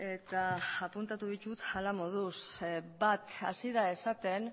eta apuntatu ditut hala moduz bat hasi da esaten